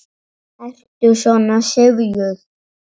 Ertu svona syfjuð?